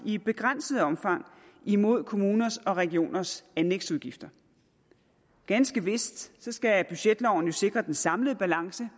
i begrænset omfang mod kommuners og regioners anlægsudgifter ganske vist skal budgetloven jo sikre den samlede balance